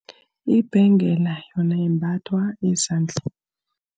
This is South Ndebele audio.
Ibhengela yona imbathwa ezandleni.